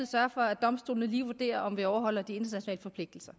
sørge for at domstolene lige vurderer om vi overholder de internationale forpligtelser